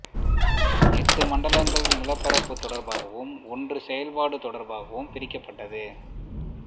எட்டு மண்டலங்கள் நிலப்பரப்பு தொடர்பாகவும் ஒன்று செயல்பாடு தொடர்பாகவும் பிரிக்கப்பட்டது